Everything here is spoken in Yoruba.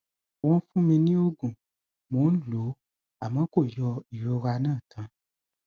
wọn fún mi ní oògùn mò ń lò ó àmọ kò yọ ìrora náà tán